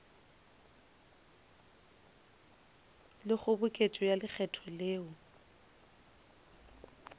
le kgoboketšo ya lekgetho le